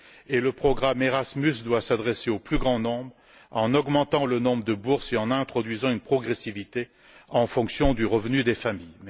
de plus, le programme Erasmus doit s'adresser au plus grand nombre en augmentant le nombre de bourses et en introduisant une progressivité en fonction du revenu des familles.